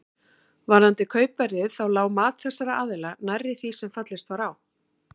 Varðandi kaupverðið þá lá mat þessara aðila nærri því sem fallist var á.